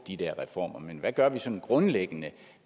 de der reformer men hvad gør vi sådan grundlæggende